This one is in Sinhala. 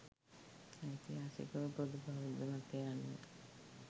ඓතිහාසිකව පොදු බෞද්ධ මතය අනුව